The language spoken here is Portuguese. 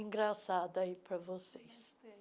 Engraçada aí pra vocês.